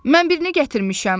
Mən birini gətirmişəm.